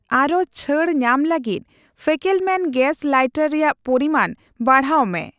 ᱟᱨ ᱦᱚᱸ ᱪᱷᱟᱹᱲ ᱧᱟᱢ ᱞᱟᱹᱜᱤᱛ ᱯᱷᱮᱠᱮᱞᱢᱮᱱ ᱜᱮᱥ ᱞᱟᱭᱴᱟᱨ ᱨᱮᱭᱟᱜ ᱯᱚᱨᱤᱢᱟᱱ ᱵᱟᱲᱦᱟᱣ ᱢᱮ ᱾